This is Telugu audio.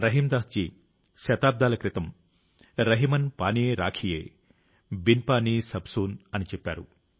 రహీమ్దాస్ జీ శతాబ్దాల క్రితం రహిమన్ పానీ రాఖియే బిన్ పానీ సబ్ సూన్ అని చెప్పారు